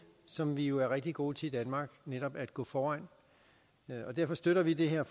som vi jo er rigtig gode til i danmark og netop går foran og derfor støtter vi det her